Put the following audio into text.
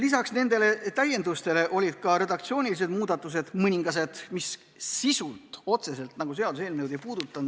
Lisaks nendele täiendustele olid ka redaktsioonilised muudatused, mis seaduseelnõu sisu ei puudutanud.